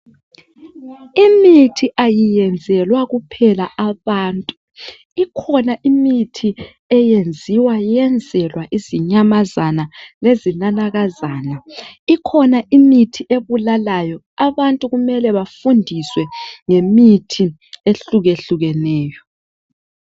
imithi ayiyenzelwa kuphela abantu ikhona imithi eyenziwa iyenzelwa izinyamazana lezinanakazana ikhona imithi ebulalayo abantu kumele befundise ngemithi ehlukehlukeneyo